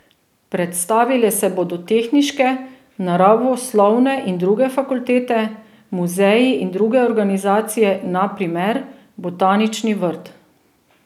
Predstavile se bodo tehniške, naravoslovne in druge fakultete, muzeji in druge organizacije, na primer botanični vrt.